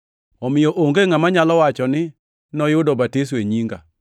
omiyo onge ngʼama nyalo wacho ni noyudo batiso e nyinga.